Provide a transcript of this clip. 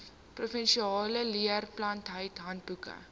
provinsiale leerplanbeleid handboeke